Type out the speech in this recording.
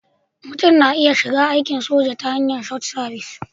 Mutum na iya shiga aikin soja ta hanyar Short Service